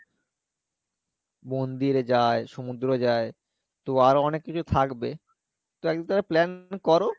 মন্দিরে যাই সমুদ্র যাই তো আরো অনেক কিছু থাকবে তো একদিন তাহলে plan করো